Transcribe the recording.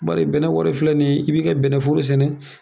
Bari bɛnnɛ filɛ nin ye, i bi ka bɛnnɛforo sɛnɛ